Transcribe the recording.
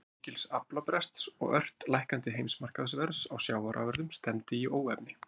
Vegna mikils aflabrests og ört lækkandi heimsmarkaðsverðs á sjávarafurðum stefndi í óefni.